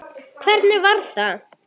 Hvernig var það?